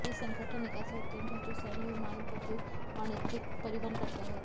यह संगठन एक ऐसा उद्यम है जो सैन्य विमानों का उपयोग वाणिज्यिक परिवहन करता है